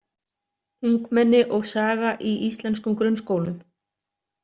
„Ungmenni og saga í íslenskum grunnskólum.“